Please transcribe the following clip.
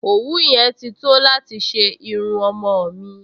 Òwú yẹn ti tó láti ṣe irun ọmọ-ọ̀n mi